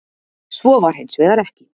Svo var hins vegar ekki.